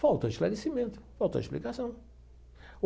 Faltou esclarecimento, faltou explicação.